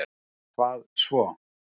hvað svo?